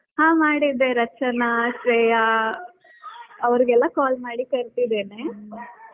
ಹಾ ಮಾಡಿದ್ದೆ ರಚನಾ ಶ್ರೇಯಾ ಅವರಿಗೆಲ್ಲಾ call ಮಾಡಿ ಕರ್ದಿದ್ದೇನೆ .